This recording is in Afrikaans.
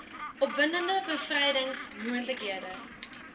opwindende bevrydings moontlikhede